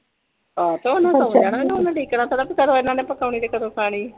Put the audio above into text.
ਹਾਂ ਤੇ ਉਹਨਾਂ ਨੇ ਤਾਂ ਸੋਂ ਜਾਣਾ ਤੇ ਨਾ ਓਹਨਾ ਡੀਕਣਾ ਕਿ ਕਦੋ ਏਨਾ ਨੇ ਪਕਾਣੀ ਤੇ ਕਦੋ ਖਾਣੀ